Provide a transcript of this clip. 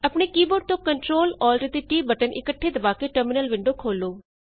ਆਪਣੇ keyboard ਤੋਂ Ctrl Alt and T button ਇੱਕਠੇ ਦਬਾ ਕੇ ਟਰਮਿਨਲ ਵਿੰਡੋ ਖੋਲ੍ਹੋ